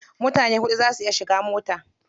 Mutane huɗu za su iya shiga mota.